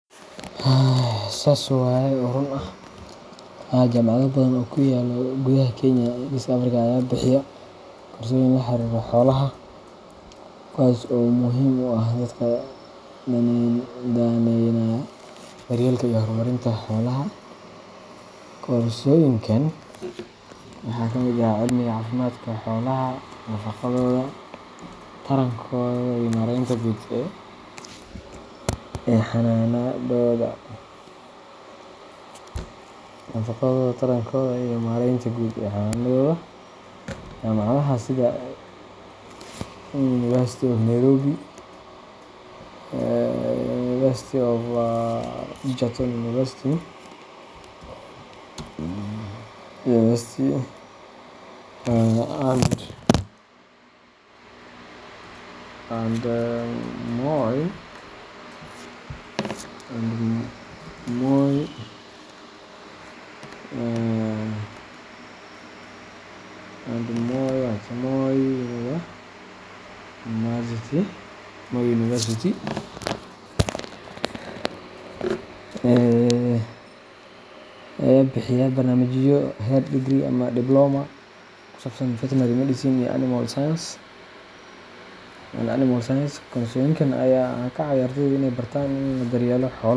Sas waye oo ruun ah, Haa, jaamacado badan oo ku yaalla gudaha Kenya iyo Geeska Afrika ayaa bixiya koorsooyin la xiriira xoolaha, kuwaas oo muhiim u ah dadka daneynaya daryeelka iyo horumarinta xoolaha. Koorsooyinkan waxaa ka mid ah cilmiga caafimaadka xoolaha, nafaqadooda, tarankooda, iyamaaraynta guud ee xanaanadooda. Jaamacadaha sida University of Nairobi, Egerton University, and Moi University ayaa bixiya barnaamijyo heer degree iyo diploma ah oo ku saabsan veterinary medicine and animal science. Koorsooyinkan ayaa ka caawiya ardayda inay bartaan sida loo daryeelo xoolaha.